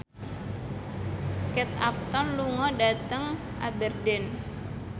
Kate Upton lunga dhateng Aberdeen